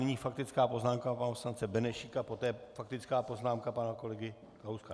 Nyní faktická poznámka pana poslance Benešíka, poté faktická poznámka pana kolegy Kalouska.